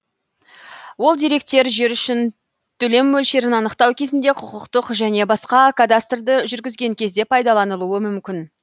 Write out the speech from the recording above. ол деректер жер үшін төлем мөлшерін анықтау кезінде құқықтық және басқа кадастрды жүргізген кезде пайдаланылуы мүмкін